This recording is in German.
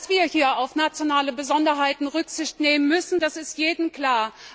Dass wir hier auf nationale Besonderheiten Rücksicht nehmen müssen, ist jedem klar.